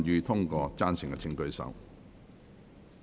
贊成的請舉手。